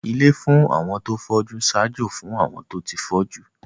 Ilé fún àwọn tó fọ́jú ń ṣaájó fún àwọn tó ti fọ́jú